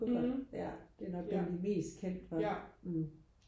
mhm ja ja